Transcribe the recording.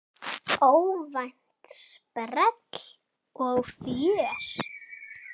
Óvænt sprell og fjör.